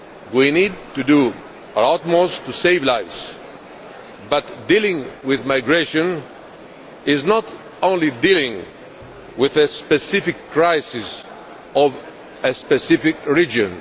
We need to do our utmost to save lives, but dealing with migration is not only dealing with a specific crisis of a specific region.